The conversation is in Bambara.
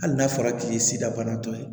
Hali n'a fɔra k'i ye sidabana tɔ ye